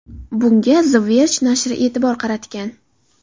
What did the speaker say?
Bunga The Verge nashri e’tibor qaratgan .